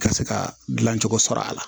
Ka se ka dilancogo sɔrɔ a la